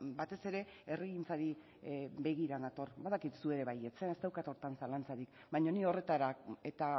batez ere herrigintzari begira nator badakit zu ere bai ez daukat horretan zalantzarik baina ni horretara eta